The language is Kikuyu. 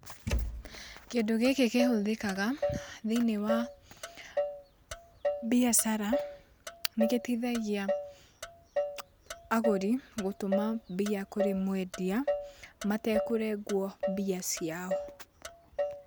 Kĩndũ gĩkĩ kĩhũthĩkaga thĩiniĩ wa mbiacara. Nĩgĩteithagia agũri gũtũma mbia harĩ mwendia matakũrengwo mbia ciao.